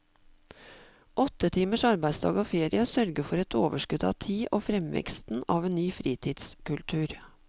Åtte timers arbeidsdag og ferie sørger for et overskudd av tid og fremveksten av en ny fritidskultur.